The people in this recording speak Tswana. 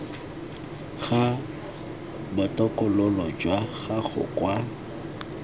ga botokololo jwa gago kwa